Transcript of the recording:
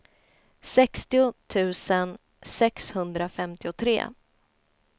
sextio tusen sexhundrafemtiotre